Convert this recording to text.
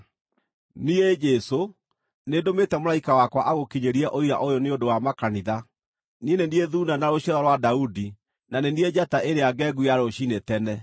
“Niĩ, Jesũ, nĩndũmĩte mũraika wakwa agũkinyĩrie ũira ũyũ nĩ ũndũ wa makanitha. Niĩ nĩ niĩ Thuuna na Rũciaro rwa Daudi, na nĩ niĩ Njata ĩrĩa ngengu ya Rũciinĩ tene.”